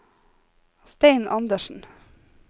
Stein Andersen